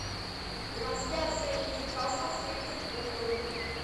трансляция ньюкасла с ливерпулем